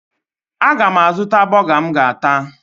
Aga m azụta bọga m ga-ata